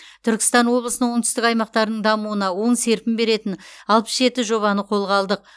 түркістан облысының оңтүстік аймақтарының дамуына оң серпін беретін алпыс жеті жобаны қолға алдық